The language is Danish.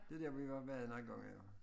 Det der vi har været nogen gange jo